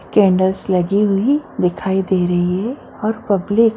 candles लगी हुई दिखाई दे रही है और पब्लिक --